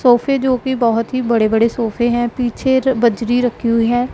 सोफे जो भी बहुत ही बड़े-बड़े सोफे है पीछे बजरी रखी हुई है।